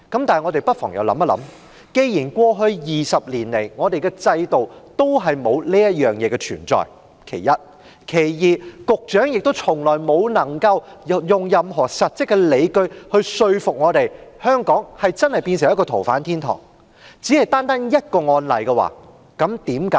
但我們不妨又想一想：第一，過去20年來，我們的制度從未有過這種修訂；第二，既然局長未能用任何實質的理據說服我們，香港真的成為了一個"逃犯天堂"，為何要為單單一宗個案修例？